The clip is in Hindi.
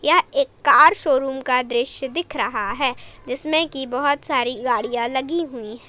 यह एक कार शोरूम का दृश्य दिख रहा है जिसमें की बहोत सारी गाड़ियां लगी हुई हैं।